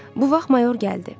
Bu vaxt mayor gəldi.